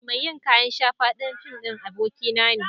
Mai yin kayan shafa don fim ɗin abokia na ne.